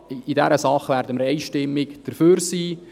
In dieser Sache werden wir einstimmig dafür sein.